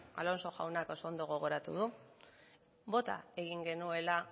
alonso jaunak oso ondo gogoratu du bota egin genuela